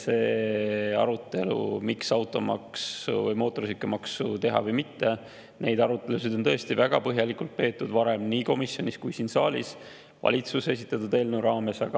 Seda arutelu, miks automaksu või mootorsõidukimaksu teha ja kas teha, on tõesti väga põhjalikult peetud varem nii komisjonis kui ka siin saalis valitsuse esitatud eelnõu raames.